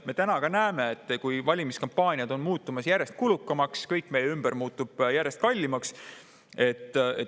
Me täna ka näeme, et valimiskampaaniad on muutumas järjest kulukamaks, kõik meie ümber muutub järjest kallimaks.